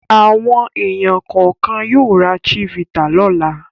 Àwọn ènìyàn kọ̀ọ̀kan yóò ra Chivita lọ́la.